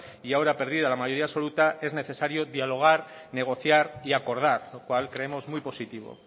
y ahora perdida la mayoría absoluta es necesario dialogar negociar y acordar lo cual creemos muy positivo